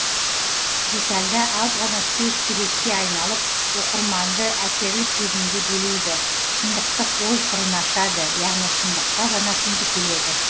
детальда аз ғана сөз суретке айналып оқырманды әсерлі сезімге белейді шындықтық ой қырын ашады яғни шындыққа жанасымды келеді